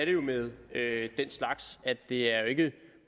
det jo med den slags det er jo ikke